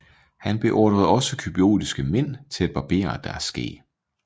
Han beordrede også cypriotiske mænd til at barbere deres skæg